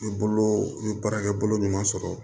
N ye bolo n bɛ baara kɛ bolo ɲuman sɔrɔ